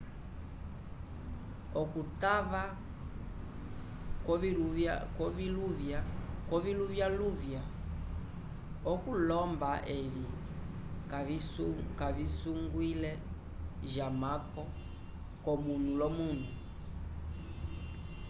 okutava koviluvya luvya okulomba evi kavisungwile jamako comunu lomunu